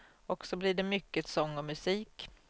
Och så blir det mycket sång och musik.